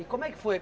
E como é que foi?